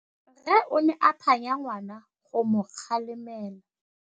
Rre o ne a phanya ngwana go mo galemela.